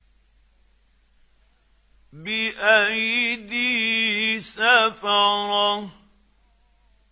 بِأَيْدِي سَفَرَةٍ